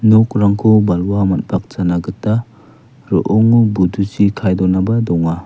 nokrangko balwa man·pakjana gita ro·ongo buduchi kae donaba donga.